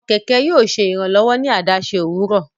Àwọn kẹkẹ yóò ṣe Iranlọwọ ní awọn adaṣe owurọ